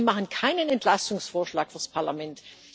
Sie machen keinen Entlastungsvorschlag fürs Parlament.